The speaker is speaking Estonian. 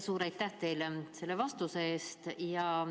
Suur aitäh teile selle vastuse eest!